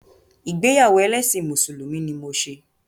Ìgbéyàwó ẹlẹ́ṣin Mùsùlùmí ni mo ṣe.